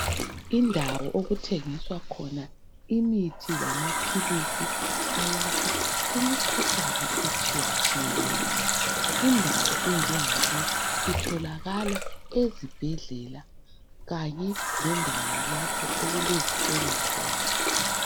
Indawo lapha okuthengiswa khona imithi eyelapha imikhuhlane etshiyatshiyeneyo indawo enjengale itholakala ezibhedlela kanye lendawo lapho okulezitolo khona